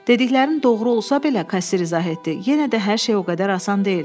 Dediklərinin doğru olsa belə, kassir izah etdi, yenə də hər şey o qədər asan deyil.